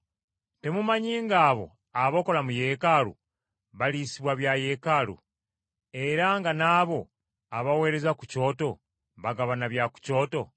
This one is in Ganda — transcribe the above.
Temumanyi ng’abo abakola mu Yeekaalu baliisibwa bya Yeekaalu, era nga n’abo abaweereza ku kyoto bagabana bya ku kyoto?